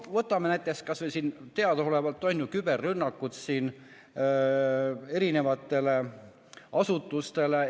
Võtame näiteks kas või selle, et teadaolevalt on tehtud küberrünnakuid asutustele.